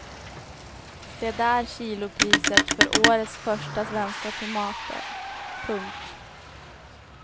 Se där kilopriset för årets första svenska tomater. punkt